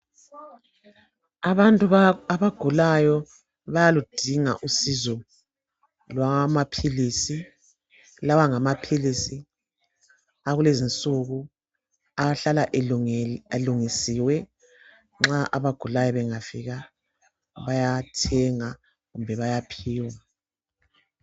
Abantu abagulayo bayaludinga usizo lwamaphilisi. Lawa ngamaphilisi akulezi insuku, ahlala elungisiwe. Abagulayo bangafika, bayathenga kumbe bayaphiwa,